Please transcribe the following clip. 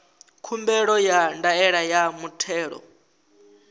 khumbelo ya ndaela ya muthelo